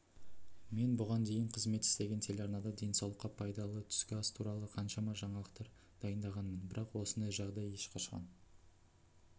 мен бұған дейін қызмет істеген телеарнада денсаулыққа пайдалы түскі ас туралы қаншама жаңалықтар дайындағанмын бірақ осындай жағдай ешқашан